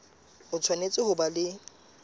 o tshwanetse ho ba le